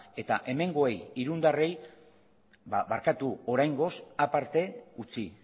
eta hemengoei irundarrei barkatu oraingoz aparte utzi